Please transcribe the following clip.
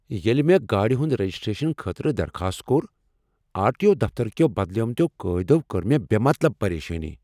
ییٚلہ مےٚ گاڑ ہند رجسٹریشنہٕ خٲطرٕ درخاست کوٚر، آر ٹی او دفتر کیو بدلیمتیو قاعدو کٔر مےٚ بے مطلب پریشٲنی۔